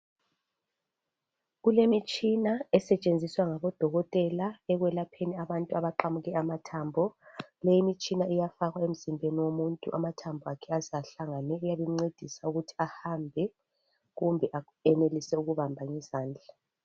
Kulemitshina esetshenziswa ngabodokotela ekwelapheni abantu abaqamuke amathambo leyi imitshina iyafakwa emzimbeni womuntu amathambo akhe aze ahlangane uyabe emcedisa ukuthi ahambe kumbe enelise ukubamba ngezandla.